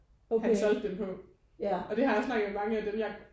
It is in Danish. Han solgte det på og det har jeg snakket med dem af dem jeg